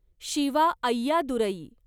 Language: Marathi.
शिवा अय्यादुरई